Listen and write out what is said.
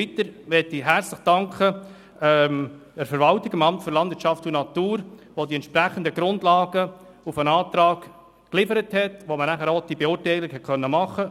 Weiter möchte ich der Verwaltung, dem LANAT, herzlich danken, das die entsprechenden Grundlagen im Hinblick auf den Antrag geliefert hat, die eine Beurteilung überhaupt ermöglichten.